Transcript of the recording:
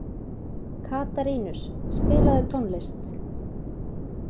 Katarínus, spilaðu tónlist.